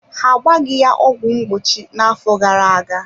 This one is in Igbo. Ha agbaghi ya ọgwụ mgbochi na-afọ gara-aga.